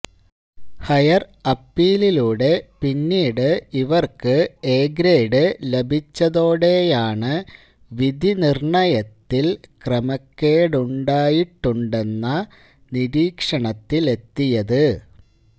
higher അപ്പീലിലൂടെ പിന്നീട് ഇവര്ക്ക് എ ഗ്രേഡ് ലഭിച്ചതോടെയാണ് വിധിനിര്ണയത്തില് ക്രമക്കേടുണ്ടായിട്ടുണ്ടെന്ന നിരീക്ഷണത്തിലത്തെിയത്